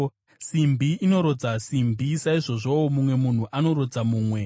Simbi inorodza simbi, saizvozvowo mumwe munhu anorodza mumwe.